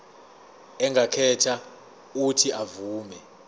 angakhetha uuthi avume